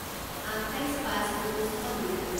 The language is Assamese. আঠাইছ পাঁচ ঊনৈছ শ দুই